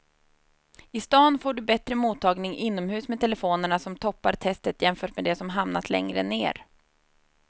I stan får du bättre mottagning inomhus med telefonerna som toppar testet jämfört med de som hamnat längre ner.